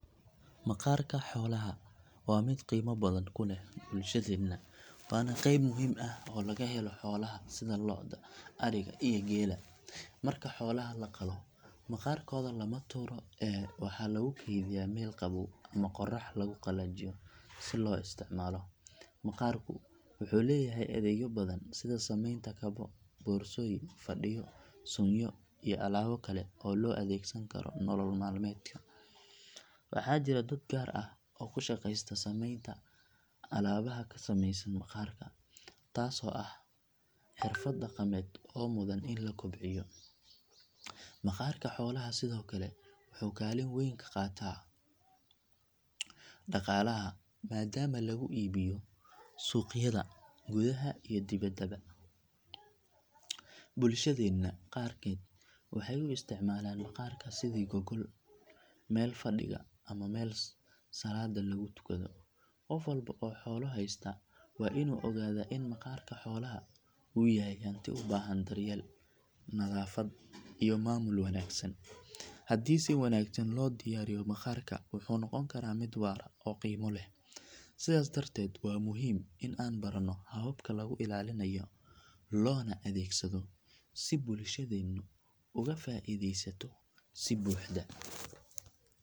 Maqaarka xoolaha waa mid qiimo badan ku leh bulshadeena waana qayb muhiim ah oo laga helo xoolaha sida lo’da, ariga iyo geela. Marka xoolaha la qalo, maqaarkooda lama tuuro ee waxaa lagu kaydiyaa meel qabow ama qorrax lagu qalajiyo si loo isticmaalo. Maqaarku wuxuu leeyahay adeegyo badan sida samaynta kabo, boorsooyin, fadhiyo, suunyo iyo alaabo kale oo la adeegsan karo nolol maalmeedka. Waxaa jira dad gaar ah oo ku shaqeysta samaynta alaabaha ka samaysan maqaarka taasoo ah xirfad dhaqameed oo mudan in la kobciyo. Maqaarka xoolaha sidoo kale wuxuu kaalin weyn ka qaataa dhaqaalaha maadaama lagu iibiyo suuqyada gudaha iyo dibadda. Bulshadeena qaarkeed waxay u isticmaalaan maqaarka sidii gogol, meel fadhiga ama meel salaadda lagu tukado. Qof walba oo xoolo haysta waa inuu ogaadaa in maqaarka xoolaha uu yahay hanti u baahan daryeel, nadaafad iyo maamul wanaagsan. Haddii si wanaagsan loo diyaariyo maqaarka wuxuu noqon karaa mid waara oo qiimo leh. Sidaas darteed waa muhiim in aan baranno hababka lagu ilaalinayo loona adeegsado si bulshadeenu uga faa’iidaysato si buuxda.